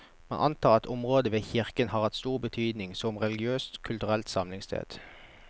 Man antar at området ved kirken har hatt stor betydning som religiøst og kulturelt samlingssted.